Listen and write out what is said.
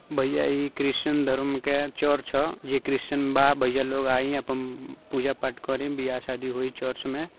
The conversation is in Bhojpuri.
भईया इ क्रिश्चन धर्म के चर्च ह ई क्रिश्चन बा भईया लोग आई आपन पूजा पाठ करी बियाह शादी होई चर्च मे।